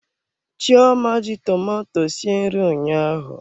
Chioma ji tomato sie nri ụnyaahụ.